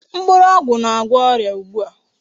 Mkpụrụ ogwu na-agwo oria ugbu a.